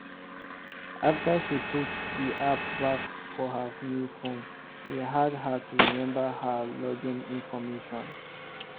after she put the app back for her new phone e hard her to remember her login information